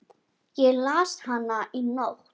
Ég las hana í nótt.